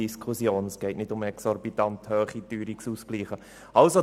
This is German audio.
Es geht nicht um exorbitant hohe Teuerungsausgleiche.